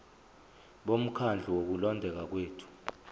bomkhandlu wokulondeka kwethu